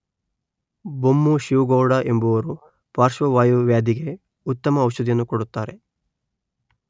ಬೊಮ್ಮು ಶಿವು ಗೌಡ ಎಂಬುವವರು ಪಾರ್ಶವಾಯು ವ್ಯಾಧಿಗೆ ಉತ್ತಮ ಔಷಧಿಯನ್ನು ಕೊಡುತ್ತಾರೆ